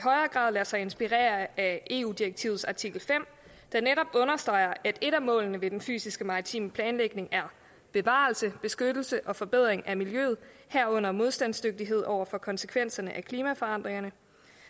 grad lade sig inspirere af eu direktivets artikel fem der netop understreger at et af målene ved den fysiske maritime planlægning er bevarelse beskyttelse og forbedring af miljøet herunder modstandsdygtighed over for konsekvenserne af klimaforandringerne